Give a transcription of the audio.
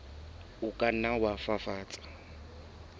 o ka nna wa fafatsa